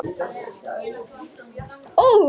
Uppáhalds vefsíða? Fótbolti.net